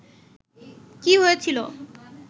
কী হয়েছিল